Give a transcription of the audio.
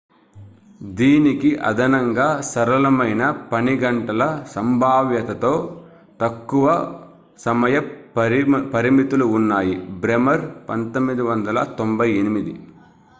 దీనికి అదనంగా సరళమైన పనిగంటల సంభావ్యతతో తక్కువ సమయ పరిమితులు న్నాయి బ్రెమర్ 1998